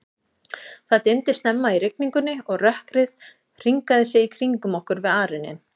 Það dimmdi snemma í rigningunni, og rökkrið hringaði sig í kringum okkur við arininn.